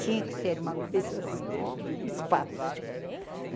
Tinha que ser uma coisa só, espaço.